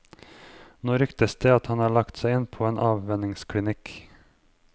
Nå ryktes det at han har lagt seg inn på en avvenningsklinikk.